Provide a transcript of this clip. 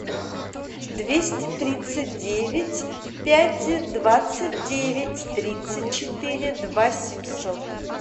двести тридцать девять пять двадцать девять тридцать четыре два семьсот